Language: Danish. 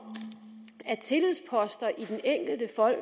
at tillidsposter i den enkelte